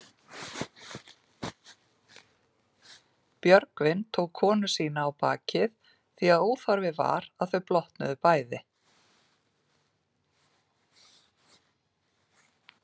Björgvin tók konu sína á bakið því að óþarfi var að þau blotnuðu bæði.